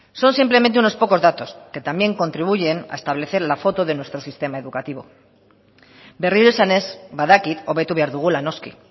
son simplemente unos pocos datos que también contribuyen a establecer la foto de nuestro sistema educativo berriro esanez badakit hobetu behar dugula noski